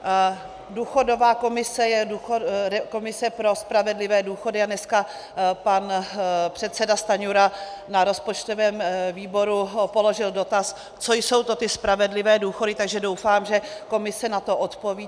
Důchodová komise je komise pro spravedlivé důchody a dneska pan předseda Stanjura na rozpočtovém výboru položil dotaz, co jsou to ty spravedlivé důchody, takže doufám, že komise na to odpoví.